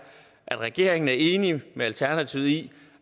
at regeringen er enig med alternativet i